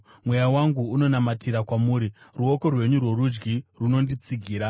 Mweya wangu unonamatira kwamuri; ruoko rwenyu rworudyi runonditsigira.